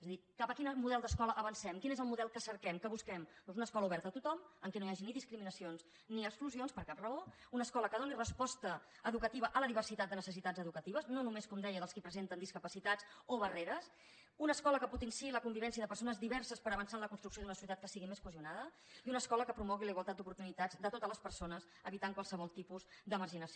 és a dir cap a quin model d’escola avancem quin és el model que cerquem que busquem doncs una escola oberta a tothom en què no hi hagi ni discriminacions ni exclusions per cap raó una escola que doni resposta educativa a la diversitat de necessitats educatives no només com deia dels qui presenten discapacitats o barreres una escola que potenciï la convivència de persones diverses per avançar en la construcció d’una societat que sigui més cohesionada i una escola que promogui la igualtat d’oportunitats de totes les persones i n’eviti qualsevol tipus de marginació